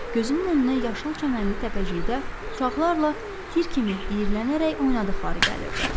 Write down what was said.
Gözünün önünə yaşıl çəmənli təpəcikdə uşaqlarla tir kimi diyirlənərək oynadıqları gəlirdi.